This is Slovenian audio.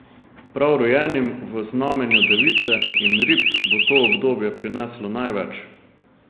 Prav rojenim v znamenju device in rib bo to obdobje prineslo največ.